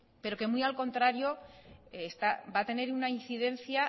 pero que muy al contrario va a tener una incidencia